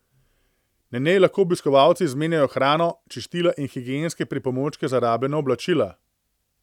Na njej lahko obiskovalci izmenjajo hrano, čistila in higienske pripomočke za rabljena oblačila.